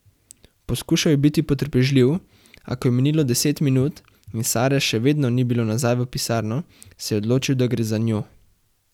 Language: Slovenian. Poskušal je biti potrpežljiv, a ko je minilo deset minut in Sare še vedno ni bilo nazaj v pisarno, se je odločil, da gre za njo.